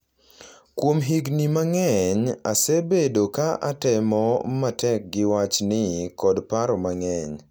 Kuom higni mang’eny, asebedo ka atemo matek gi wachni kod paro mang’eny.